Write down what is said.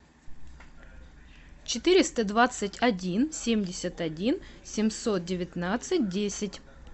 четыреста двадцать один семьдесят один семьсот девятнадцать десять